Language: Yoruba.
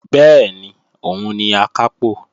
Bẹ́ẹ̀ni, òun ni Akápò